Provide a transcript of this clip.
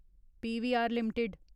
PVR limited